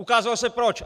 Ukázalo se proč!